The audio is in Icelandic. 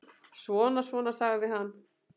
Svona, svona, sagði hann.